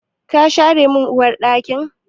Ka share min Uwar ɗakin?